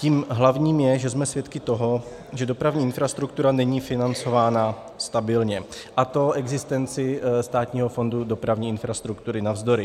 Tím hlavním je, že jsme svědky toho, že dopravní infrastruktura není financována stabilně, a to existenci Státního fondu dopravní infrastruktury navzdory.